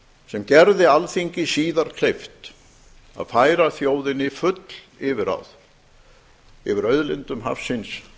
sem gerði alþingi síðar kleift að færa þjóðinni full yfirráð yfir auðlindum hafsins